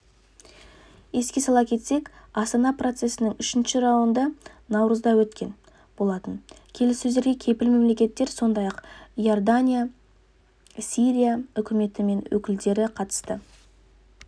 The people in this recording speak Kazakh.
еске сала кетсек астана процесінің үшінші раунды наурызда өткен болатын келіссөздерге кепіл мемлекеттер сондай-ақ иордания сирия үкіметі мен өкілдері қатысты